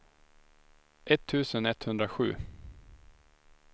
etttusen etthundrasju